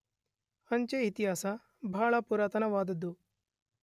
ಅಂಚೆ ಇತಿಹಾಸ ಬಹಳ ಪುರಾತನ ವಾದದ್ದು.